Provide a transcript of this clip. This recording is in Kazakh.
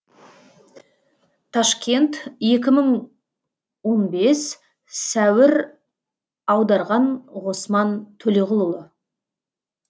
ташкент екі мың он бес сәуір аударған ғосман төлеғұлұлы